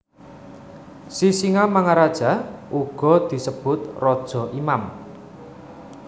Sisingamaraja uga disebut raja imam